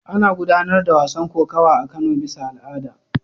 Ana gudanar da wasan kokawa a Kano bisa al'ada.